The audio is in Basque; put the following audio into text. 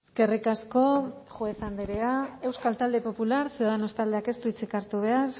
eskerrik asko juez andrea euskal talde popular ciudadanos taldeak ez du hitzik hartu behar